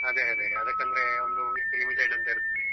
ಅದೇ ಅದೇ ಅದಕ್ಕಂದ್ರೆ ಒಂದು ಇಷ್ಟು limited ಅಂತ ಇರ್ತದೆ.